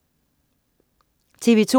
TV2: